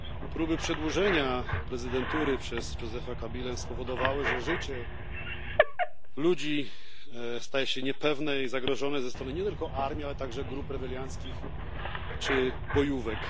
Próby przedłużenia prezydentury przez Josepha Kabilę spowodowały, że życie ludzi staje sie niepewne i zagrożone ze strony nie tylko armii, ale także grup rebelianckich czy bojówek.